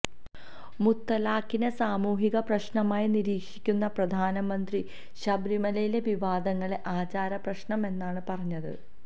മുത്തലാഖിനെ സാമൂഹിക പ്രശ്നമായി നിരീക്ഷിക്കുന്ന പ്രധാനമന്ത്രി ശബരിമലയിലെ വിവാദങ്ങളെ ആചാര പ്രശ്നമെന്നാണ് പറഞ്ഞത്